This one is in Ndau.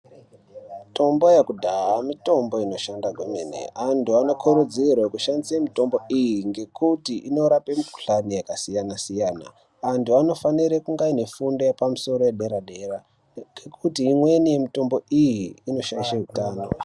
Mitombo yekudhaya mitombo inoshanda kwemene. Antu anokurudzirwe kushandisa mitombo iyi ngekuti inorape mikhuhlane yakasiyana -siyana. Antu anofanire kunge aine fundo yepamusoro yedera-dera ngekuti imweni mitombo iyi inoshaishe hutano.